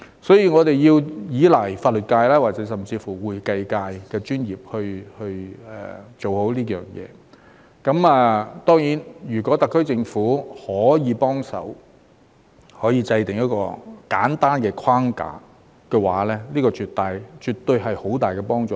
所以，我們要依賴法律界甚至會計界的專業來做好這件事，當然如果特區政府可以幫忙制訂一個簡單框架，這絕對是有很大幫助。